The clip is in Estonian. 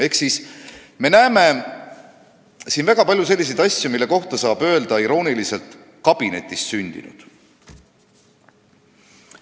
Ehk me näeme siin väga palju selliseid asju, mille kohta saab öelda irooniliselt, et kabinetis sündinud.